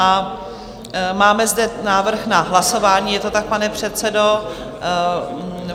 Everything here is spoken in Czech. A máme zde návrh na hlasování, je to tak, pane předsedo?